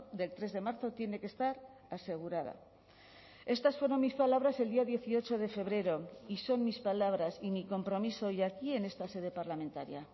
del tres de marzo tiene que estar asegurada estas fueron mis palabras el día dieciocho de febrero y son mis palabras y mi compromiso hoy aquí en esta sede parlamentaria